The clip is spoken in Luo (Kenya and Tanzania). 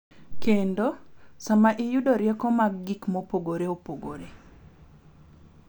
Kendo, sama iyudo rieko mar gik mopogore opogore .